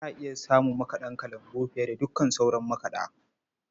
Za a iya samun makaɗa kalangu fiye da dukkan sauran makaɗa.